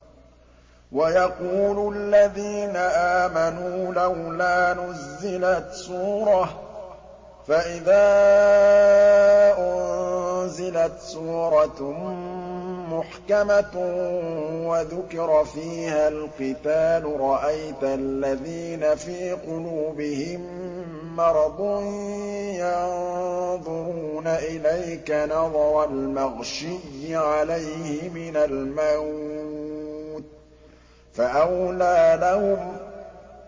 وَيَقُولُ الَّذِينَ آمَنُوا لَوْلَا نُزِّلَتْ سُورَةٌ ۖ فَإِذَا أُنزِلَتْ سُورَةٌ مُّحْكَمَةٌ وَذُكِرَ فِيهَا الْقِتَالُ ۙ رَأَيْتَ الَّذِينَ فِي قُلُوبِهِم مَّرَضٌ يَنظُرُونَ إِلَيْكَ نَظَرَ الْمَغْشِيِّ عَلَيْهِ مِنَ الْمَوْتِ ۖ فَأَوْلَىٰ لَهُمْ